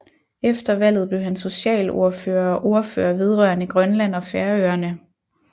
Efter valget blev han socialordfører og ordfører vedrørende Grønland og Færøerne